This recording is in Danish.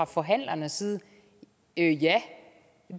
forhandlere der sidder i det